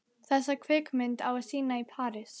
Þessa kvikmynd á að sýna í París.